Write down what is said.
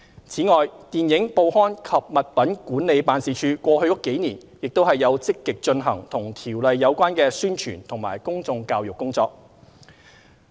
此外，電影、報刊及物品管理辦事處過去幾年也有積極進行與《條例》有關的宣傳及公眾教育工作。